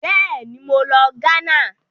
Bẹ́ẹ̀ni, mo lọ Ghana.